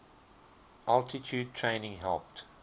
altitude training helped